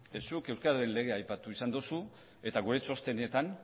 zuk euskal legea aipatu izan dozu eta gure txostenetan